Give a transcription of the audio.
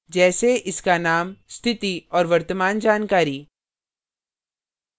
जैसे इसका name स्थिति और वर्तमान जानकारी